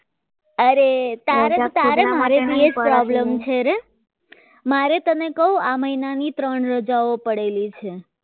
અરે તારે ને તારે મારે એ જ problem છે મારે તને મહિનાની ત્રણ રજાઓ પડેલી છે